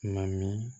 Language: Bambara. Na min